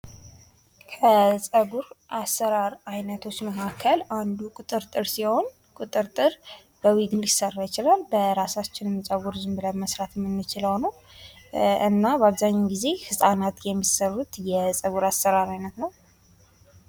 ከጸጉር አሰራር አይነቶች መካከል አንዱ ቁጥርጥር ሲሆን ቁጥርጥር በዊግም ሊሰራ ይችላል በራሳችንም ጸጉር ዝምብለን መስራት የምንችለው ነው። እና በአብዛኛው ጊዜ ህጻናት የሚሰሩት የጸጉር አሰራር አይነት ነው።